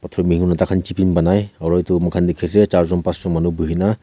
chipping banai aro itu muikhan dikhi ase charjun pasjun manu bhuhina.